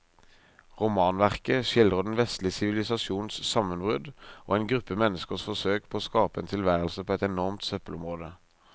Romanverket skildrer den vestlige sivilisasjons sammenbrudd og en gruppe menneskers forsøk på å skape en tilværelse på et enormt søppelområde.